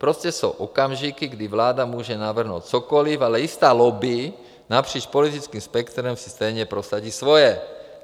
Prostě jsou okamžiky, kdy vláda může navrhnout cokoliv, ale jistá lobby napříč politickým spektrem si stejně prosadí svoje.